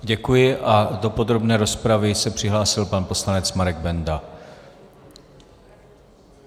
Děkuji a do podrobné rozpravy se přihlásil pan poslanec Marek Benda.